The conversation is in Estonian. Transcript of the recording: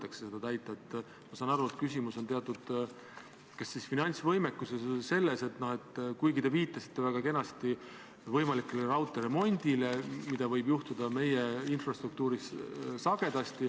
Lisan seda, et eile, 5. novembril toimus riigikaitse- ja väliskomisjoni ühine väljasõiduistung Kaitseväe peastaapi, kus Kaitseväe juhataja andis põhjaliku ülevaate kõikidest missioonidest.